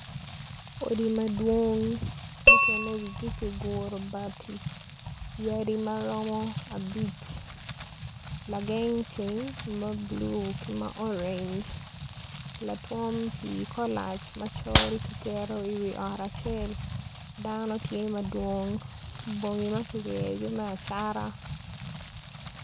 Odi madwong mukene kiguro wigi bati yadi maromo abic lageng ceng ma bulu ki ma orenge latwom pii kolac ki keto i wi ot acel dano tye madwong bongo ma kiryeyogi me acata.